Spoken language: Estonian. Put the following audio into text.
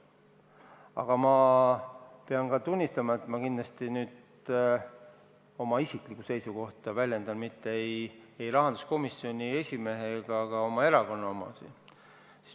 Aga väljendan nüüd kindlasti oma isiklikku seisukohta, mitte rahanduskomisjoni esimehe ega ka minu erakonna omasid.